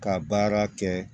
Ka baara kɛ